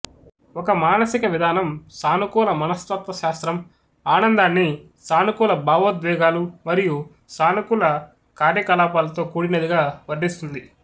ఒక మానసిక విధానం సానుకూల మనస్తత్వశాస్త్రం ఆనందాన్ని సానుకూల భావోద్వేగాలు మరియు సానుకూల కార్యకలాపాలతో కూడినదిగా వర్ణిస్తుంది